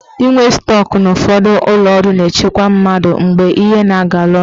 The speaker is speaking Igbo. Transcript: Inwe stọk na ụfọdụ ụlọọrụ na-echekwa mmadụ mgbe ihe na-agala ọnụ.